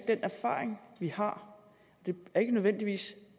den erfaring vi har det er ikke nødvendigvis